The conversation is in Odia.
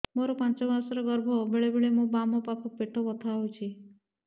ମୋର ପାଞ୍ଚ ମାସ ର ଗର୍ଭ ବେଳେ ବେଳେ ମୋ ବାମ ପାଖ ପେଟ ବଥା ହଉଛି